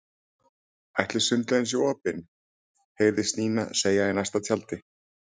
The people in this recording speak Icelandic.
Ætli sundlaugin sé opin? heyrðist Nína segja í næsta tjaldi.